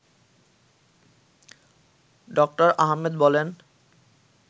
ড: আহমেদ বলেন